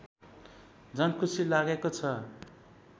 झन् खुशी लागेको छ